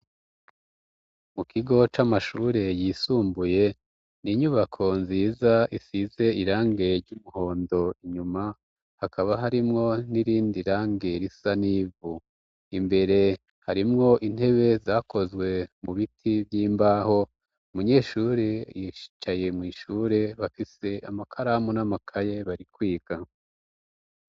Mu kigo c'amashure yisumbuye ni inyubako nziza isize irange ry'umuhondo inyuma hakaba harimwo n'irindi rangero isa n'ivu imbere harimwo intebe zakozwe mu biti vy'imbaho umunyeshure yihicaye mw'ishure ure bafise amakaramu n'amakaye barikwiga.